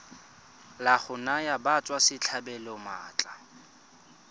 la go naya batswasetlhabelo maatla